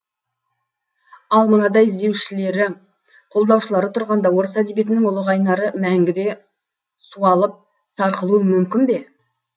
ал мынадай іздеушілері қолдаушылары тұрғанда орыс әдебиетінің ұлы қайнары мәңгі де суалып сарқылуы мүмкін бе